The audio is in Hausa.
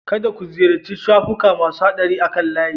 Kada ku ziyarci shafuka masu haɗari akan layi